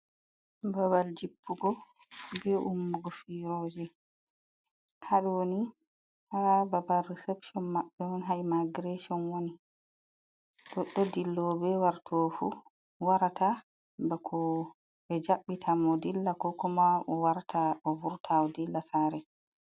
Babal jippugo be ummugo firoje, haɗoni ha babal risepshon maɓɓe on ha imagirashon woni, ɗoɗɗo dillo be warto ɓefu warata bako ɓe jabbita mo dilla, kokoma o warta o vurta o dilla sare.